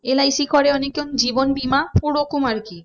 LIC করে অনেকে জীবন বীমা ওরকম আর কি